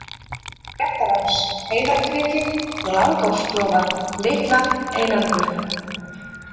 Réttarás, Heiðarkriki, Langásklofar, Litla-Einangur